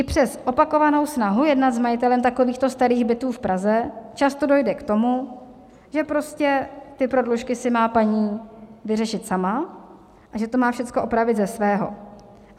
I přes opakovanou snahu jednat s majitelem takovýchto starých bytů v Praze často dojde k tomu, že prostě ty prodlužky si má paní vyřešit sama a že to má všecko opravit ze svého.